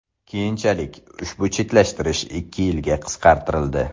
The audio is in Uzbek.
Keyinchalik ushbu chetlashtirish ikki yilga qisqartirildi.